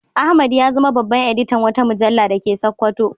Ahmad ya zama babban editan wata mujalla da ke Sakkwato.